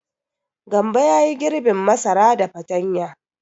Gambo ya yi girbin masara da fatanya.